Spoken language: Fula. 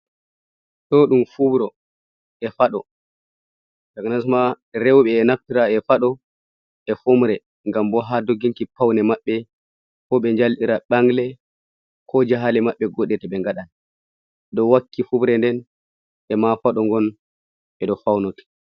Ɗo ɗum fubro e faɗo ja nasma rewɓe e naftira e faɗo e fomre ngam bo ha dogginki pawne maɓɓe fo ɓe njalɗira ɓangle ko jahale maɓɓe goɗe to ɓe ngaɗan do wakki fumre nden e ma faɗo ngon ɓe ɗo fawnoti.